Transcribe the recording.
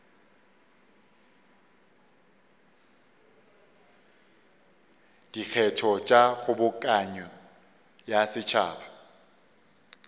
dikgetho tša kgobokano ya setšhaba